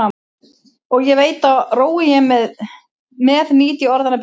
Og ég veit að rói ég með nýt ég orðanna betur.